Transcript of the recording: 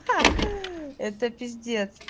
ха это пиздец